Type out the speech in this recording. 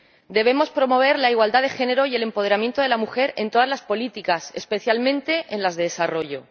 Debemos promover la igualdad de género y el empoderamiento de la mujer en todas las políticas, especialmente en las de desarrollo.